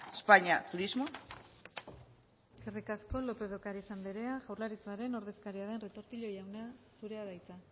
españa turismo eskerrik asko lópez de ocariz andrea jaurlaritzaren ordezkaria den retortillo jauna zurea da hitza